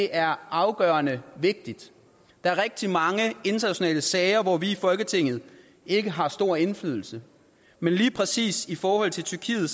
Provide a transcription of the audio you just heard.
er afgørende vigtigt der er rigtig mange internationale sager hvor vi i folketinget ikke har stor indflydelse men lige præcis i forhold til tyrkiet